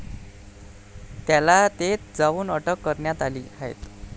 त्याला तेथ जाऊन अटक करण्यात आली आहे.